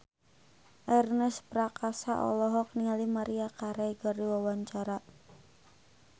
Ernest Prakasa olohok ningali Maria Carey keur diwawancara